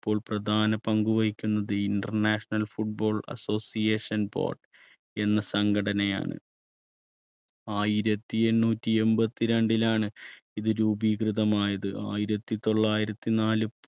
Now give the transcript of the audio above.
ഇപ്പോൾ പ്രധാന പങ്കുവഹിക്കുന്നത് ഇൻറർനാഷണൽ ഫുട്ബോൾ അസോസിയേഷൻ ബോർഡ് എന്ന സംഘടനയാണ്. ആയിരത്തി എണ്ണൂറ്റി എൺപത്തി രണ്ടിലാണ് ഇത് രൂപീകൃതമായത് ആയിരത്തി തൊള്ളായിരത്തി നാല്